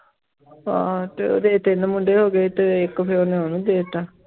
ਹਾਂ ਤੇ ਉਹਦੇ ਤਿੰਨ ਮੁੰਡੇ ਹੋ ਗਏ ਤੇ ਇੱਕ ਫਿਰ ਉਹਨੇ ਉਹਨੂੰ ਦੇ ਦਿੱਤਾ